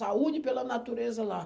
Saúde pela natureza lá.